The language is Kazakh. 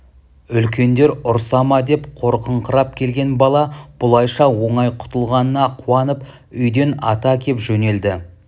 үлкендер ұрса ма деп қорқыңқырап келген бала бұлайша оңай құтылғанына қуанып үйден ата кеп жөнелді